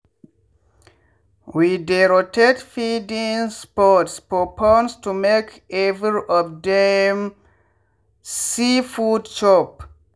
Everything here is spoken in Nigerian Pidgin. we dey rotate feeding spots for ponds to make every of dem see food chop